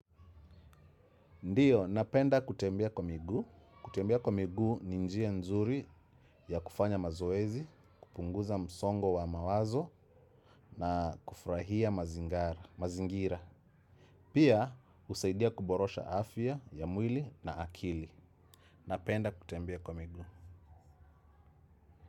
Ndiyo, napenda kutembea kwa miguu. Kutembea kwa migu ni njia nzuri ya kufanya mazoezi, kupunguza msongo wa mawazo na kufurahia mazingira. Pia, husaidia kuborosha afya ya mwili na akili. Napenda kutembia kwa migu.